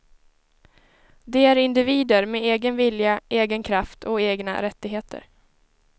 De är individer med egen vilja, egen kraft och egna rättigheter.